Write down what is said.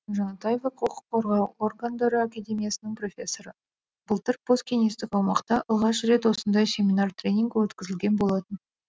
жанатаева құқық қорғау органдары академиясының профессоры былтыр посткеңестік аумақта алғаш рет осындай семинар тренинг өткізілген болатын